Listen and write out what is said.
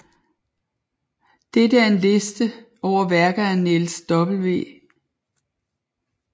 Dette er en liste over værker af Niels W